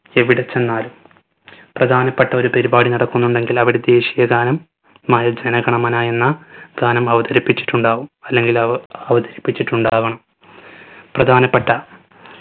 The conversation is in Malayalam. എവിടെച്ചെന്നാലും പ്രധാനപ്പെട്ട ഒരു പരുപാടി നടക്കുന്നുണ്ടെങ്കിൽ അവിടെ ദേശിയ ഗാനം മായ ജന ഗണമന എന്ന ഗാനം അവതരിപ്പിച്ചിട്ടുണ്ടാവും അല്ലെങ്കിൽ അവ അവതരിപ്പിച്ചിട്ടുണ്ടാവണം പ്രധാനപ്പെട്ട